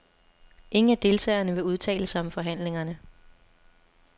Ingen af deltagerne vil udtale sig om forhandlingerne.